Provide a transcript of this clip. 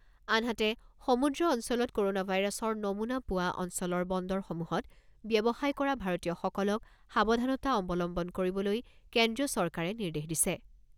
আনহাতে, সমুদ্ৰ অঞ্চলত ক'ৰোনা ভাইৰাছৰ নমুনা পোৱা অঞ্চলৰ বন্দৰসমূহত ব্যৱসায় কৰা ভাৰতীয়সকলক সাৱধানতা অৱলম্বন কৰিবলৈ কেন্দ্ৰীয় চৰকাৰে নিৰ্দেশ দিছে।